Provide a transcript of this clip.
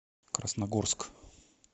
красногорск